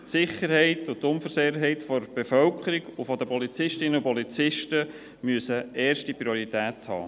Die Sicherheit und die Unversehrtheit der Bevölkerung sowie der Polizistinnen und Polizisten müssen erste Priorität haben.